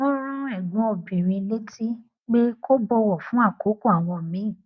wọn rán ẹgbọn obìnrin létí pé kó bọwọ fún àkókò àwọn míì